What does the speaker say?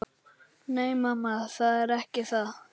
Nei, mamma, það er ekki það.